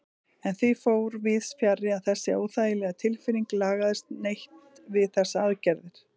En því fór víðsfjarri að þessi óþægilega tilfinning lagaðist neitt við þessar aðgerðir.